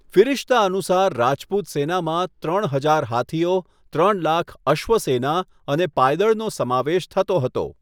ફિરિશ્તા અનુસાર, રાજપૂત સેનામાં ત્રણ હજાર હાથીઓ, ત્રણ લાખ અશ્વસેના અને પાયદળનો સમાવેશ થતો હતો.